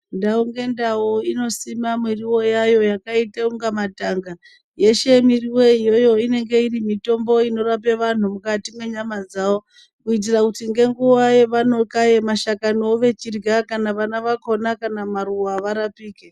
Ndau ngendau inosima miriwo yayo yakaite kunga matanga. Yeshe miriwo iyoyo inenge iri mitombo inorape vanhu mukati menyama dzavo. Kuitira kuti ngenguva yavanokaye mashakaniwo vechirya kana vana vakona kana maruva varapike.